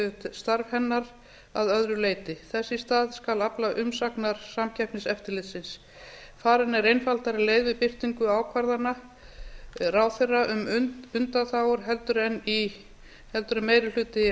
starf hennar að öðru leyti þess í stað skal afla umsagnar samkeppniseftirlitsins farin er einfaldari leið við birtingu ákvarðana ráðherra um undanþágur heldur en meiri hluti